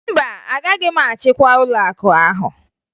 Mba, agaghị m achịkwa ụlọakụ ahụ